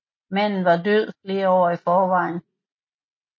Manden var død flere år i forvejen